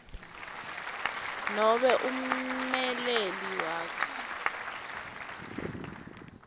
nobe ummeleli wakhe